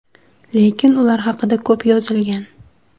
Lekin ular haqida ko‘p yozilgan.